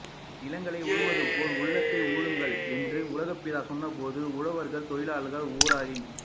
நிலங்களை உழுவது போல் உள்ளத்தை உழுங்கள் என்று உலகப்பிதா சொன்னபோது உழவர்கள் தொழிலாளர் ஊராரின்